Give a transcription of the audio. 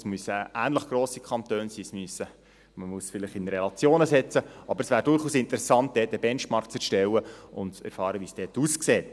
es müssen ähnlich grosse Kantone sein, man muss es vielleicht in Relationen setzen, aber es wäre durchaus interessant, dort eine Benchmark zu erstellen und zu erfahren, wie es dort aussieht.